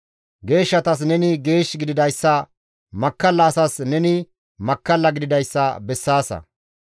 Geeshshatas neni geesh gididayssa, makkalla asas neni makkalla gididayssa bessaasa.